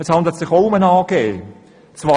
Es handelt sich auch bei Localnet um eine AG.